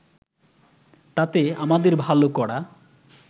তাতে আমাদের ভালো করা